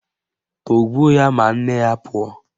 Tọgbuo ya ma nne ya pụọ!